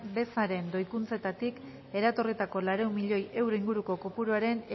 bezaren doikuntzetatik eratorritako laurehun milioi euro inguruko kopuruaren